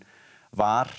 var